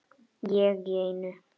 Ég í einu.